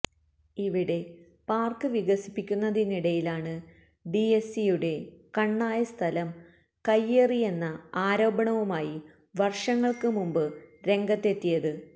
ഇവിടെ പാര്ക്ക് വികസിപ്പിക്കുന്നതിനിടയിലാണ് D S സിയുടെ കണ്ണായ സ്ഥലം കയ്യേറിയെന്ന ആരോപണവുമായി വര്ഷങ്ങള്ക്ക് മുമ്പ് രംഗത്തെത്തിയത്